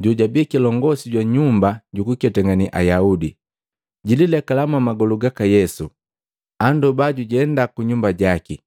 jojabii kilongosi jwa nyumba jukuketangane Ayaudi. Jililekala mwamagolu gaka Yesu, andoba jujenda kunyumba jaki,